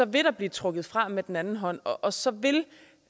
vil der blive trukket fra med den anden hånd og så vil